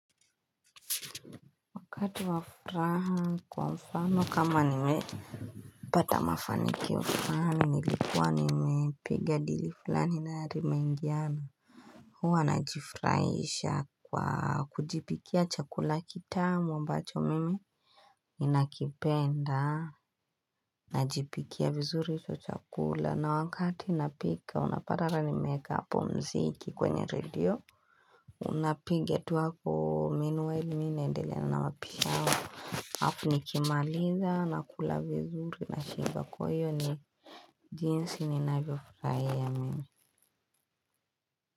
Wakati wafuraha kwa mfano kama nimepata mafani kio fulani nilikuwa nimepiga dili fulani na limengiana huwa najifurahisha kwa kujipikia chakula kitamu ambacho mimi Ninakipenda najipikia vizuri hicho chakula na wakati napika unapata hata nimeeka hapo mziki kwenye radio Unapiga tu hapo meanwhile mi naendelea na mapishi yangu alafu nikimaliza na kula vizuri na shiba kwayo ni jinsi ni nayo furahia mimi.